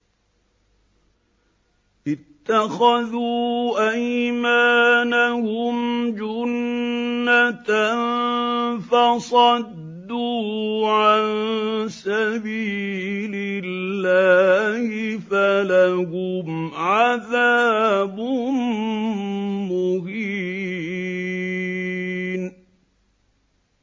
اتَّخَذُوا أَيْمَانَهُمْ جُنَّةً فَصَدُّوا عَن سَبِيلِ اللَّهِ فَلَهُمْ عَذَابٌ مُّهِينٌ